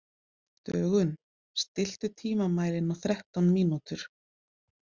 Dögun, stilltu tímamælinn á þrettán mínútur.